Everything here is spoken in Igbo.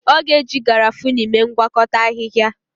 Ọ ga-eji Garafuni mee ngwakọta ahịhịa.